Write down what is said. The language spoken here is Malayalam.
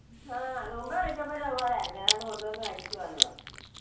ആ മുൻപേ വിളിച്ചപ്പഴും ഇതുപോലെ ആരുന്നു ഏതാണ്ട് കൊണ്ടുവന്ന് കഴിക്കുവാന്ന് പറഞ്ഞു.